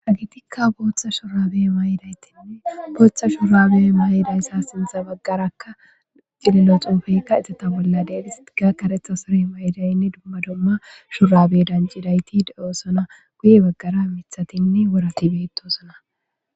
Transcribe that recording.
hagitikka booththa shurabe mayidaytinne booththa shurabe mayiday sa sindza baggarakka cilillo xuufeykka izeta bolla deelisti ga karetha sorey maydaynne dumma domma shurabe danjidayti de7osona guye baggara mithatinne worati beettosona